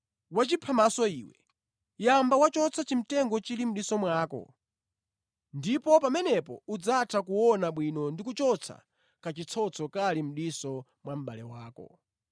Wachiphamaso iwe! Yamba wachotsa chimtengo chili mʼdiso mwako ndipo pamenepo udzatha kuona bwino ndi kuchotsa kachitsotso kali mʼdiso mwa mʼbale wako.